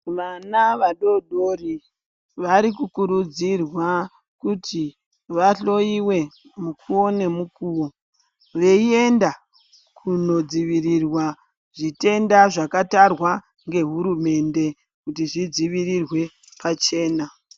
Vana vadoridori varikukurudzirwa kuti vahloyiwe mukuwo nemukuwo, veienda kunodzivirirwa zvitenda zvakatarwa ngehurumende kuti zvidzivirirwe pachena.